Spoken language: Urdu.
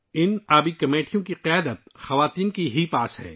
اس واٹر کمیٹی کی قیادت صرف خواتین کے پاس ہے